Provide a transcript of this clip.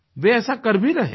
वे ऐसा कर भी रहे हैं